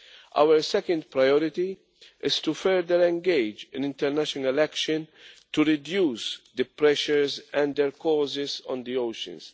Our second priority is to further engage in international action to reduce the pressures and their causes on the oceans.